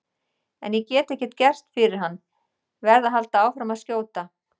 En ég get ekkert gert fyrir hann, verð að halda áfram að skjóta.